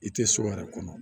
I tɛ so yɛrɛ kɔnɔ